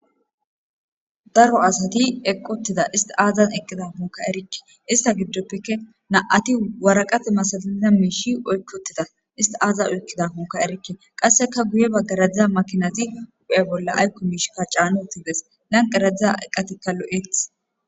Daro asati eqqotida isti aazan eqqida muka erikke ista giddoppeke na'ati waraqate masaliza miishi oykkotida isti aaza oykkida muka erikke qasseka guye baggaradziza makinazi hu'e bolla aykko miish kacaanuutides nanqeradzadza eqqatikka lo'eth.